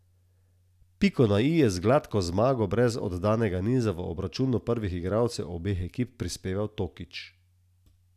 Piko na i je z gladko zmago brez oddanega niza v obračunu prvih igralcev obeh ekip prispeval Tokič.